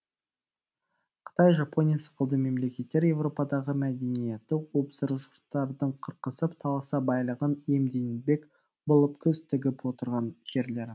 қытай жапония сықылды мемлекеттер европадағы мәдениетті озбыр жұрттардың қырқысып таласып байлығын иемденбек болып көз тігіп отырған жерлері